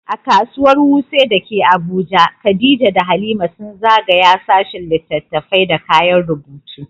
A Kasuwar Wuse da ke Abuja, Khadija da Halima sun zagaya sashin littattafai da kayan rubutu.